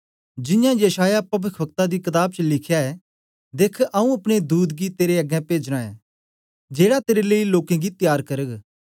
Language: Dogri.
जियां यशायाह पविखवक्ता दी कताब च लिख्या ऐ देख्ख आऊँ अपने दूत गी तेरे अग्गें पेजना ऐं जेड़ा तेरे लेई लोकें गी तयार करग